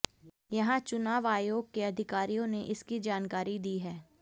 यहां चुनाव आयोग के अधिकारियों ने इसकी जानकारी दी है